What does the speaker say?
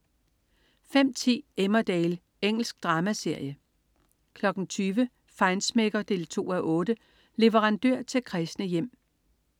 05.10 Emmerdale. Engelsk dramaserie 20.00 Feinschmecker 2:8. Leverandør til kræsne hjem